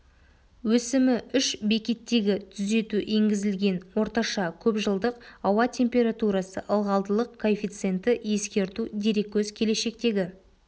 өсімі үш бекеттегі түзету енгізілген орташа көпжылдық ауа температурасы ылғалдылық коэффициенті ескерту дереккөз келешектегі